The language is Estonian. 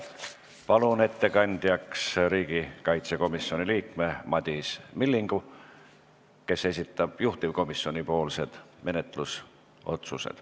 Palun ettekandjaks riigikaitsekomisjoni liikme Madis Millingu, kes esitab juhtivkomisjoni menetlusotsused.